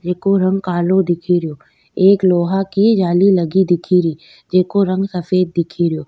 जेको रंग कालो दिखेरियो एक लोहा की जाली लगी दिखेरी जेको रंग सफ़ेद दिखेरियो।